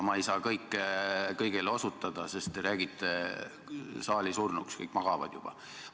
Ma ei saa kõigele osutada, sest te räägite saali surnuks, kõik magavad juba.